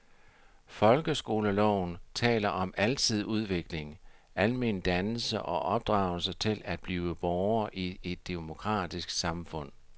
Folkeskoleloven taler om alsidig udvikling, almen dannelse og opdragelse til at blive borger i et demokratisk samfund.